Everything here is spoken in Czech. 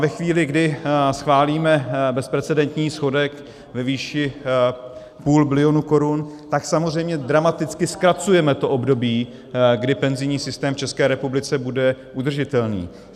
Ve chvíli, kdy schválíme bezprecedentní schodek ve výši půl bilionu korun, tak samozřejmě dramaticky zkracujeme to období, kdy penzijní systém v České republice bude udržitelný.